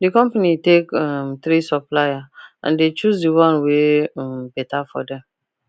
the company take um 3 supplier and they choose the one wey um better for them